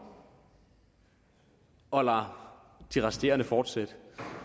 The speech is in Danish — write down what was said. og lader de resterende fortsætte